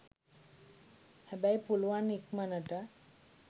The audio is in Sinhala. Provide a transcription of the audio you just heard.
හැබැයි පුළුවන් ඉක්මනට